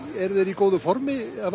eru þeir í góðu formi já hafa